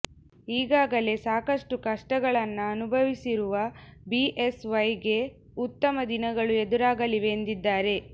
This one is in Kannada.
ಈಗಾಗಲೇ ಸಾಕಷ್ಟು ಕಷ್ಟಗಳನ್ನ ಅನುಭವಿಸಿರುವ ಬಿಎಸ್ವೈ ಗೆ ಉತ್ತಮ ದಿನಗಳು ಎದುರಾಗಲಿವೆ ಎಂದಿದ್ದಾರೆ